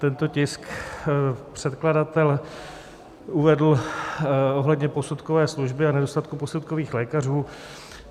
Tento tisk předkladatel uvedl ohledně posudkové služby a nedostatku posudkových lékařů.